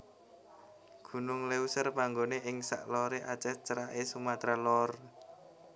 Gunung Léuser panggoné ing sak loré Aceh ceraké Sumatra Lor